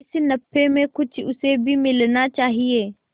इस नफे में कुछ उसे भी मिलना चाहिए